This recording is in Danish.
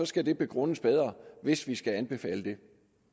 skal det begrundes bedre hvis vi skal anbefale det